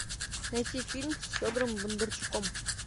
найти фильм с федором бондарчуком